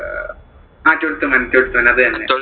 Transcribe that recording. അഹ് Twelfth Man അത് തന്നെ.